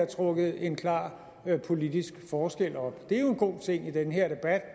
trukket en klar politisk forskel op det er jo en god ting i den her debat